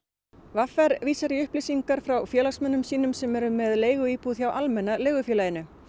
v r vísar í upplýsingar frá félagsmönnum sínum sem eru með leiguíbúð hjá Almenna leigufélaginu